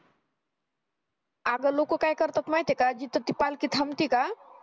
आगं लोक काय करतात माहित्ये का जिथं ती पालकी थांबतीका